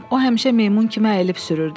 O həmişə meymun kimi əyilib sürürdü.